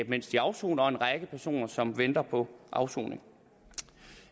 mens de afsoner og en række personer som venter på afsoning